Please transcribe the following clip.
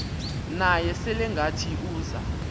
naye selengathi uza